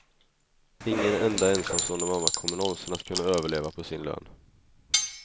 Ingen enda ensamstående mamma kommer nånsin att kunna överleva på sin lön.